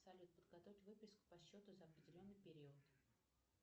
салют подготовить выписку по счету за определенный период